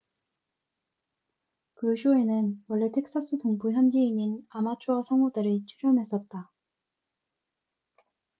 그 쇼에는 원래 텍사스 동부 현지인인 아마추어 성우들이 출연했었다